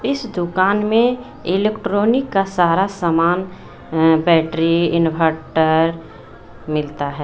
इस दुकान में इलेक्ट्रॉनिक का सारा सामान अ बैटरी इन्वटर मिलता है।